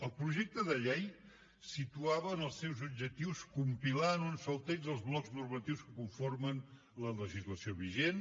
el projecte de llei situava en els seus objectius compilar en un sol text els blocs normatius que conformen la legislació vigent